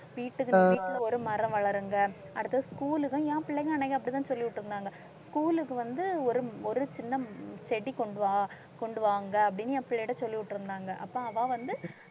வீட்டுக்கு, வீட்டில ஒரு மரம் வளருங்க அடுத்தது school க்கும் என் பிள்ளைங்க அன்னைக்கு அப்படித்தான் சொல்லிவிட்டிருந்தாங்க school க்கு வந்து ஒரு ஒரு சின்ன செடி கொண்டு வா, கொண்டுவாங்க அப்படின்னு என் பிள்ளைகிட்ட சொல்லிவிட்டிருந்தாங்க அப்ப அவ வந்து